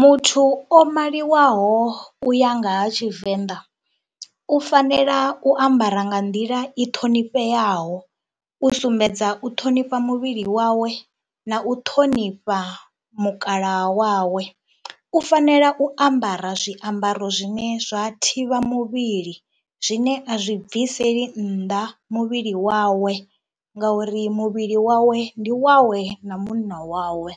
Muthu o maliwaho u ya nga ha Tshivenḓa u fanela u ambara nga nḓila i ṱhonifheaho, u sumbedza u ṱhonifha muvhili wawe na u ṱhonifha mukalaha wawe. U fanela u ambara zwiambaro zwine zwa thivha muvhili, zwine a zwi bvisela nnḓa muvhili wawe ngauri muvhili wawe ndi wawe na munna wawe.